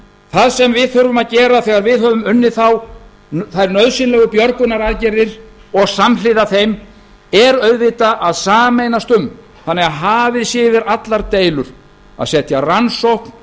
það sem við þurfum að gera þegar við höfum unnið þær nauðsynlegu björgunaraðgerðir og samhliða þeim er auðvitað að sameinast um þannig að hafið sé yfir allar deilur að setja rannsókn